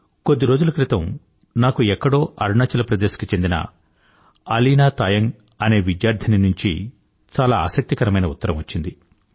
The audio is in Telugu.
కొద్ది రోజుల క్రితం నాకు ఎక్కడో అరుణాచల్ ప్రదేశ్ కి చెందిన అలీనా తాయంగ్ అనే విద్యార్థిని నుంచి చాలా ఆసక్తికరమైన ఉత్తరం వచ్చింది